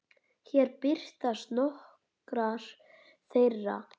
Hér birtast nokkrar þeirra.